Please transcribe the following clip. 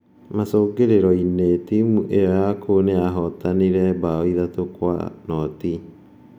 Macũngĩrĩro-inĩ, timũ ĩyo ya kũu nĩyahootanire 3-0.